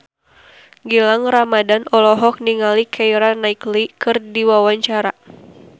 Gilang Ramadan olohok ningali Keira Knightley keur diwawancara